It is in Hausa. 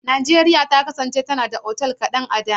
Najeriya ta kasance tana da otal kaɗan a da.